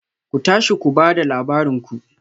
Ku tashi ku ba da labarin ku